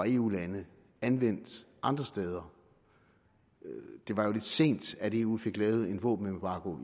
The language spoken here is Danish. eu lande anvendt andre steder det var lidt sent at eu fik lavet en våbenembargo